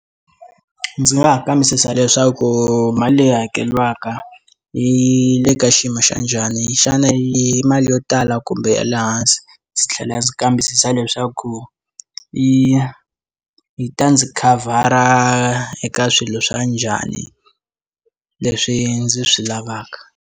Ndzi nga ha kambisisa leswaku mali leyi hakeriwaka yi le ka xiyimo xa njhani xana hi mali yo tala kumbe ya lehansi ndzi tlhela ndzi kambisisa leswaku yi yi ta ndzi khavhara eka swilo swa njhani leswi ndzi swi lavaka.